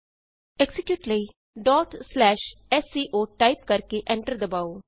execute ਕਰਨ ਲਈ sco type ਕਰਕੇ ਐਂਟਰ ਦਬਾਉ